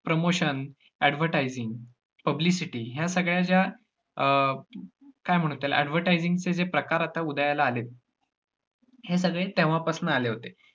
promotion, advertising, publicity ह्या सगळ्या ज्या अं काय म्हणु त्याला advertising चे जे प्रकार आता उदयाला आलेत हे सगळे तेव्हा पासनं आले होते.